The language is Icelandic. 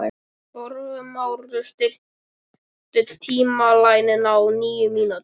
Þórmar, stilltu tímamælinn á níu mínútur.